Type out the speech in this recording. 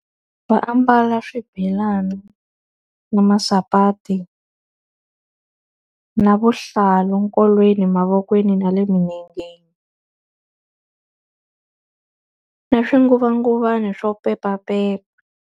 Va ambala swibelani, na masapati, na vuhlalu nkolweni, mavokweni, na le milengeni na swinguvanguvana swo pepapepa.